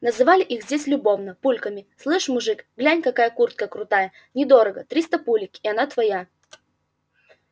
называли их здесь любовно пульками слышь мужик глянь какая куртка крутая недорого триста пулек и она твоя